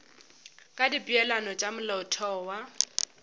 ka dipeelano tša molaotheo wa